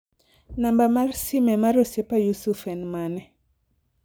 namba mar sime mar osiepa Yusuf en mane